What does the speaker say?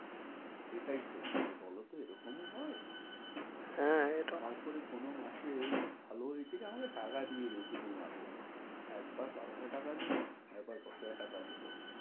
এটাই হয়েছে এরকমও হয়? হ্যাঁ, তারপরে কোনো মাসে এমনি ভালো হয়েছে কি আমাকে টাকা দিয়ে গেছে দু মাসের একবার বারো হাজার টাকা দিলো, আর একবার দশ হাজার টাকা দিলো।